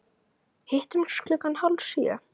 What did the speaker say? Hittumst klukkan hálf sjö.